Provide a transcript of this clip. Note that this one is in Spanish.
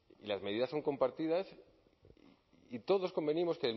y las medidas son compartidas y todos convenimos